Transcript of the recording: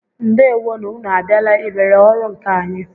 Ndewo nụ! Ụnụ a bịala ị lere ọrụ nkà anyị?